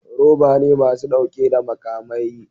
Roba ne masu dauke da makamai